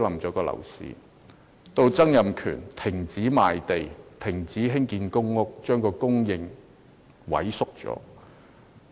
後來，曾蔭權停止賣地，停建公屋，令房屋供應萎縮。